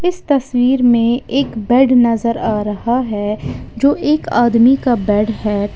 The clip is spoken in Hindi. इस तस्वीर में एक बेड नजर आ रहा है जो एक आदमी का बेड है।